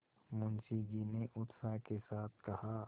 मुंशी जी ने उत्साह के साथ कहा